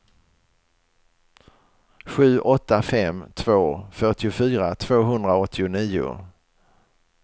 sju åtta fem två fyrtiofyra tvåhundraåttionio